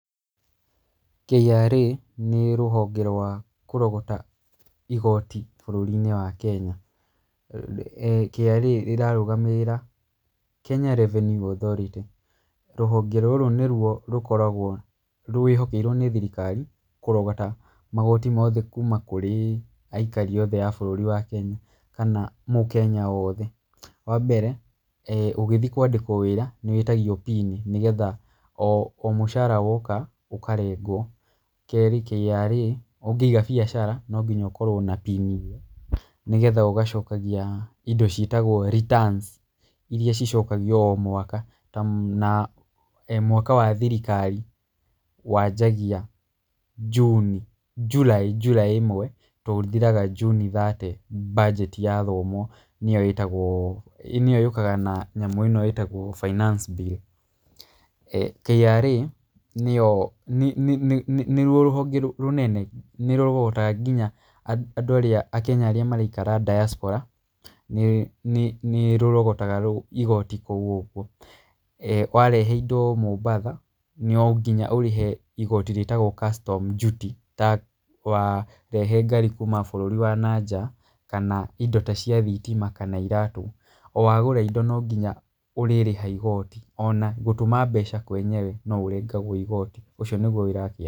KRA nĩ rũhonge rwa kũrogota igoti bũrũri-inĩ wa Kenya. KRA rĩrarũgamĩrĩra Kenya Revenue Authority. Rũhonge rũrũ nĩ ruo rũkoragwo rwĩhokeirwo nĩ thirikari kũrogota magoti mothe kuma kũrĩ aikari othe a bũrũri wa Kenya kana Mũkenya o wothe. Wa mbere ũgĩthiĩ kwandĩkwo wĩra nĩ wĩtagio pin nĩgetha mũcara woka ũkarengwo. Keerĩ, KRA ũngĩiga biacara no nginya ũkorwo na pin ĩyo nĩgetha ũgacokagia indo ciĩtagwo returns iria cicokagio o mwaka. Ta na mwaka wa thirikari wanjagia June, July July ĩmwe tondũ ũthiraga June thirty mbanjeti yathomwo, nĩyo ĩtagwo nĩyo yũkaga na nyamũ ĩo ĩtagwo finance bill. KRA nĩyo nĩ nĩ nĩ nĩ ruo rũhonge rũnene, nĩ rũrogotaga nginya andũ arĩa Akenya arĩa maraikaraga diaspora nĩ nĩ nĩ rũrogotaga igoti kũu ũguo. Warehe indo Mombatha, no nginya ũrehe igoti rĩtagwo custom duty ta warehe ngari kuma bũrũri wa na nja kana indo ta cia thitima kana iratũ. O wagũra indo no nginya ũrĩrĩha igoti, ona gũtũma mbeca kwenyewe no ũrengagwo igoti. Ũcio nĩguo wĩra wa ..